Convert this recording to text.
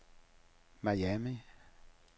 Miami